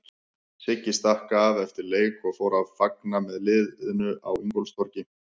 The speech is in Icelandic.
Siggi stakk af eftir leik og fór að fagna með landsliðinu á Ingólfstorgi.